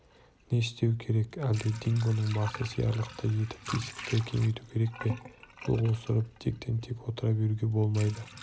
не істеу керек әлде дингоның басы сиярлықтай етіп тесікті кеңіту керек пе қол қусырып тектен-тек отыра беруге болмайды